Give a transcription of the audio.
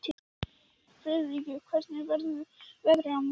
Friðríkur, hvernig verður veðrið á morgun?